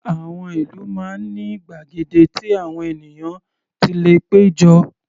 Àwọn ìlú máa ń ní gbàgede tí àwọn ènìyàn ti lè pé jọ.